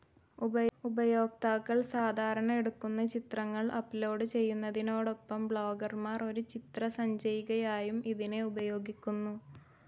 ഉപയോക്താക്കൾ സാധാരണ എടുക്കുന്ന ചിത്രങ്ങൾ അപ്ലോഡ്‌ ചെയ്യുന്നതിനോടൊപ്പം ബ്ലോഗർമാർ ഒരു ചിത്രസഞ്ചയികയായും ഇതിനെ ഉപയോഗിക്കുന്നു.